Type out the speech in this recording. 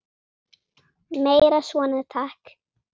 Meira svona takk.